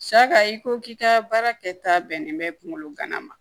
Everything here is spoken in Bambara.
Saga i ko k'i ka baara kɛ ta bɛnnen bɛ kungolo gana ma